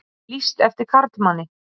Lýst eftir karlmanni